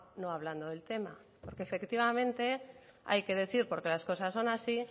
no hablando del tema porque efectivamente hay que decir porque las cosas son así